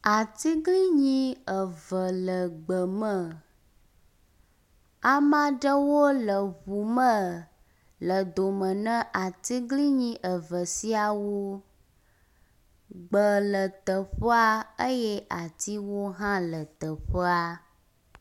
Atiglinyi eve le gbe me, amea ɖewo le ŋu me le dome ne atiglinti eve siawo. Gbe le teƒea eye atiwo hã le teƒea.